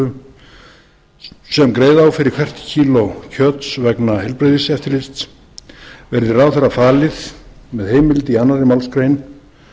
þá krónutölu sem greiða á fyrir hvert kíló kjöts vegna heilbrigðiseftirlits verði ráðherra falið með heimild í annarri málsgrein